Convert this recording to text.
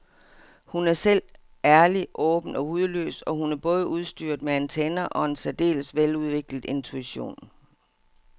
Hun er selv ærlig, åben og hudløs og hun er både udstyret med antenner og en særdeles veludviklet intuition.